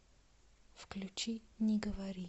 включи не говори